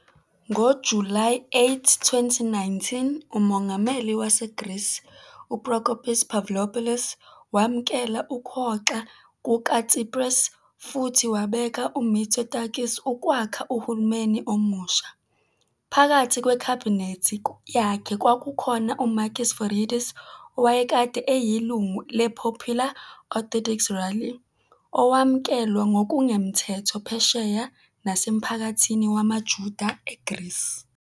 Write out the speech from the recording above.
NgoJulayi 8, 2019, uMongameli waseGreece UProkopis Pavlopoulos wamukela ukuhoxa kukaTsipras futhi wabeka uMitsotakis ukwakha uhulumeni omusha. Phakathi kweKhabhinethi yakhe kwakukhona uMakis Voridis, owayekade eyilungu le-Popular Orthodox Rally, owamukelwa ngokungemthetho phesheya nasemphakathini wamaJuda eGreece.